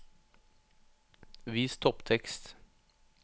Vis topptekst